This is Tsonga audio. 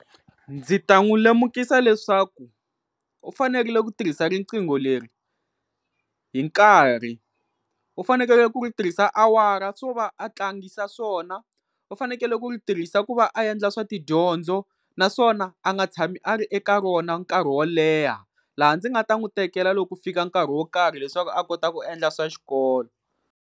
Ndzi ta n'wi lemukisa leswaku u fanerile ku tirhisa riqingho leri hi nkarhi. U fanekele ku ri tirhisa awara swo va a tlangisa swona, u fanekele ku ri tirhisa ku va a endla swa tidyondzo naswona a nga tshami a ri eka rona nkarhi wo leha, laha ndzi nga ta n'wi tekela loko ku fika nkarhi wo karhi leswaku a kota ku endla swa xikolo.